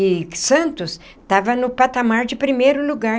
E Santos estava no patamar de primeiro lugar.